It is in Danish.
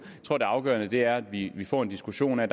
tror det afgørende er at vi vi får en diskussion af